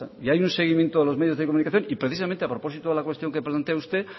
y hay un seguimiento de los medios de comunicación y precisamente a propósito de la cuestión que plantea usted